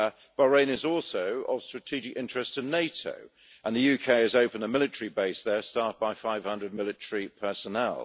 Bahrain is also of strategic interest to NATO, and the UK has opened a military base there staffed by 500 military personnel.